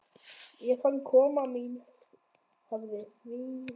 Ég fann að koma mín hafði þvingandi áhrif.